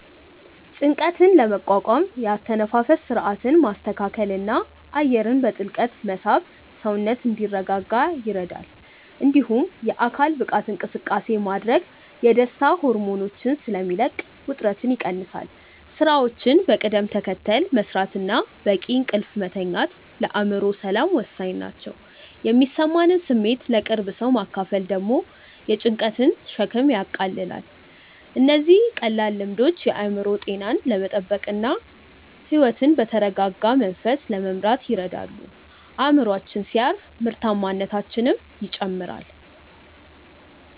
ጭንቀትን ለመቋቋም የአተነፋፈስ ሥርዓትን ማስተካከልና አየርን በጥልቀት መሳብ ሰውነት እንዲረጋጋ ይረዳል። እንዲሁም የአካል ብቃት እንቅስቃሴ ማድረግ የደስታ ሆርሞኖችን ስለሚለቅ ውጥረትን ይቀንሳል። ሥራዎችን በቅደም ተከተል መሥራትና በቂ እንቅልፍ መተኛት ለአእምሮ ሰላም ወሳኝ ናቸው። የሚሰማንን ስሜት ለቅርብ ሰው ማካፈል ደግሞ የጭንቀትን ሸክም ያቃልላል። እነዚህ ቀላል ልምዶች የአእምሮ ጤናን ለመጠበቅና ሕይወትን በተረጋጋ መንፈስ ለመምራት ይረዳሉ። አእምሮአችን ሲያርፍ ምርታማነታችንም ይጨምራል።